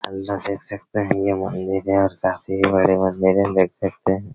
Hello देख सकते हैं यह मैनेजर काफी बड़े में देख सकते हैं।